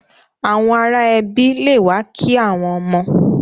Àwọn ará ẹbi le wa ki àwọn ọmọ.